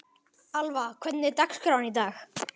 Alva, hvernig er dagskráin í dag?